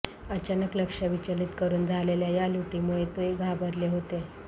अचानक लक्ष विचलित करून झालेल्या या लुटीमुळे ते घाबरले होते